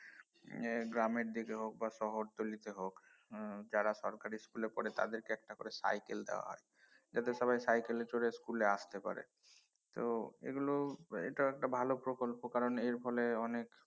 এর গ্রামের দিকে হোক বা শহরতলীতে হোক হম যারা সরকারি school এ পড়ে তাদেরকে একটা করে cycle দেয়া হয় এতে সবাই cycle এ চড়ে স্কুলে আসতে পারে তো এগুলো এটা একটা ভাল প্রকল্প কারন এর ফলে অনেক